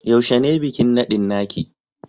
Yaushe ne bikin nadin naki?